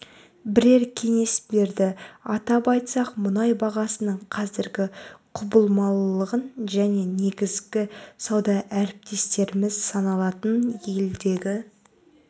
бірер кеңес берді атап айтсақ мұнай бағасының қазіргі құбылмалылығын және негізгі сауда әріптестеріміз саналатын елдердегі